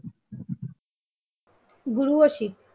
গুরু ও শিখ